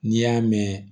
N'i y'a mɛn